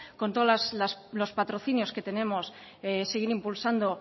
con todos los patrocinios que tenemos seguir impulsando